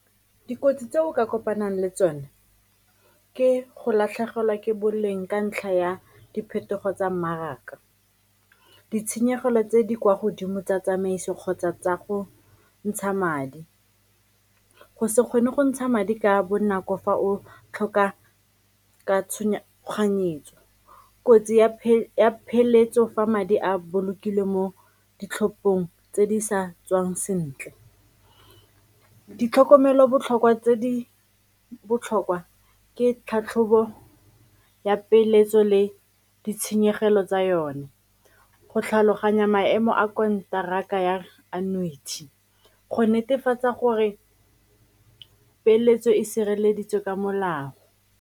Dikotsi tse o ka kopanang le tsone ke go latlhegelwa ke boleng ka ntlha ya diphetogo tsa mmaraka, ditshenyegelo tse di kwa godimo tsa tsamaiso kgotsa tsa go ntsha madi, go se kgone go ntsha madi ka bonako fa o tlhoka ka , kotsi ya pheletso fa madi a bolokilwe mo ditlhopheng tse di sa tswang sentle. Ditlhokomelo botlhokwa tse di botlhokwa ke tlhatlhobo ya peeletso le ditshenyegelo tsa yone, go tlhaloganya maemo a konteraka ya annuity, go netefatsa gore peeletso e sireleditswe ka molao.